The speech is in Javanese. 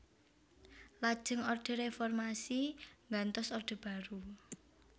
Lajeng Orde Reformasi nggantos Orde Baru